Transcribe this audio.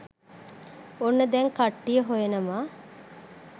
ඔන්න දැන් කට්ටිය හොයනවා